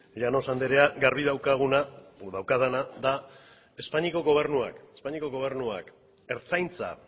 llanos anderea garbi daukaguna edo daukadana da espainiako gobernuak ertzaintza